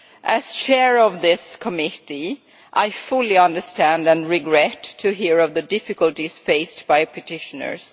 As Chair of this Committee I fully understand, and regret to hear of, the difficulties faced by petitioners.